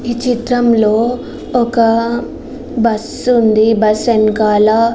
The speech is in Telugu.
ఈ చిత్రంలో ఒక బస్సు ఉంది. బస్సు ఎనకాల --